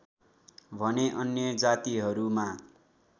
भने अन्य जातिहरूमा